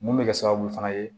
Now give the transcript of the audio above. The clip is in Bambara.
Mun bɛ kɛ sababu fana ye